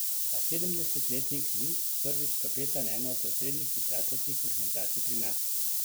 A sedemdesetletnik ni prvič kapetan ene od osrednjih pisateljskih organizacij pri nas.